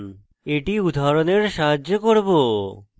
এটি উদাহরণের সাহায্যে করব